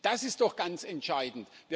Das ist doch ganz entscheidend.